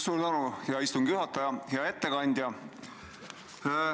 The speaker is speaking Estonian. Suur tänu, hea istungi juhataja!